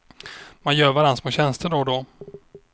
Man gör varann små tjänster då och då.